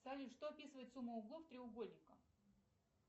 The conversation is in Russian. салют что описывает сумма углов треугольника